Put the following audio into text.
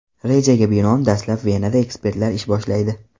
Rejaga binoan, dastlab Venada ekspertlar ish boshlaydi.